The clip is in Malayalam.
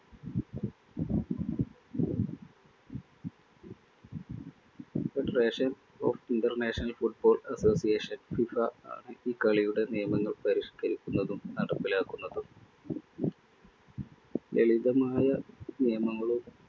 Federation of International Football Associations FIFA ഈ കളിയുടെ നിയമങ്ങൾ പരിഷ്ക്കരിക്കുന്നതും നടപ്പിലാക്കുന്നതും. ലളിതമായ നിയമങ്ങളും